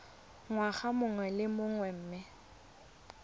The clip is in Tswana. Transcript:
ngwaga mongwe le mongwe mme